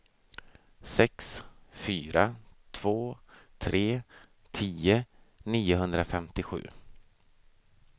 sex fyra två tre tio niohundrafemtiosju